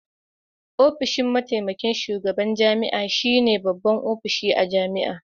Ofishin mataimakin shugaban jami'a shine babban ofishi a jami'a